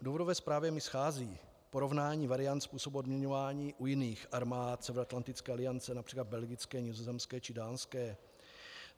V důvodové zprávě mi schází porovnání variant způsobu odměňování u jiných armád Severoatlantické aliance, například belgické, nizozemské či dánské.